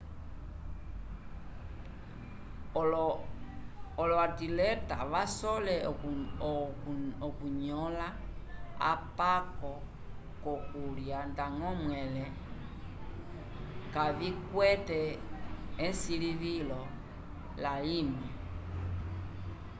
olo-atileta vasole okunõla apako vokulya ndañgo mwẽle kavikwete esilivilo layimwe